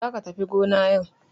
Za ka tafi gona yau.